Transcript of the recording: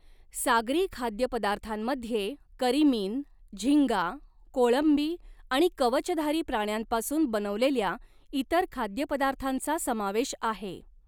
सागरी खाद्यपदार्थांमध्ये करिमीन, झींगा, कोळंबी आणि कवचधारी प्राण्यांपासून बनवलेल्या इतर खाद्यपदार्थांचा समावेश आहे.